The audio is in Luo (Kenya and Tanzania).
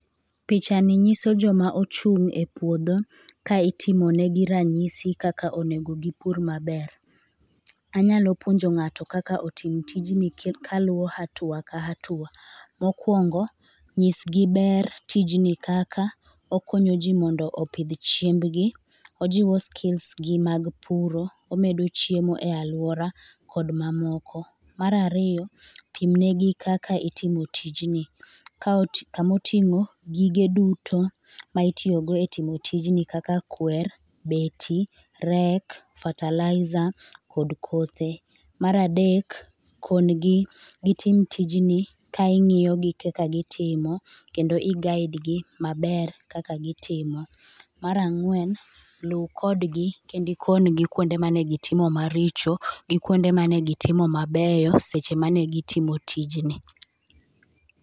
Picha ni nyiso joma ochung' e puodho ka itimo ne gi ranyisi kaka onego gipur maber. Anyalo puonjo ng'ato kaka otim tijni kaluwo atuwa ka atuwa. Mokwongo nyisgi ber tijni kaka okonyo jii mondo opidh chembgi, ojiwo skills gi mag puro, omedo chiemo e aluara kod mamoko . Mar ariyo pimne gi kaka itimo tijni ka oti kamoting'o gige duto ma itiyo go e timo tijni kaka kwer, beti ,rek, fertilizer kod kothe. Mar adek kon gi gitim tijni ka ing'iyo gi kaka gitimo kendo i guide gi maebr kaka gitimo. Mar ang'wen luu kodgi kendi kon gi kuonde mane gitimo maricho gi kuonde mane gitimo mabeyo seche mane gitimo tijni.